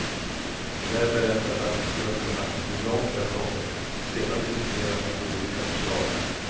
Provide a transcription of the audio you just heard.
Där berättar arbetsgrupperna hur långt de har kommit och sedan diskuterar man de olika förslagen.